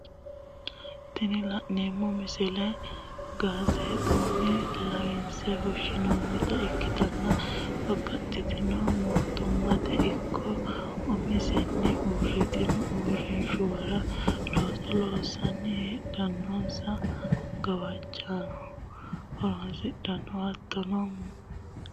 Tini la'neemo misile gaazzeexunni lawinse fushinonitta ikkitanna babaxxitino mootumate ikko umin'sanni uuritinno uurinshuwara loosano loosasine heedhanonsa gawajjora ku'late horonsidhano, hattonno mootumma yanate daano lalawa gaazzeexuni fusha danditanno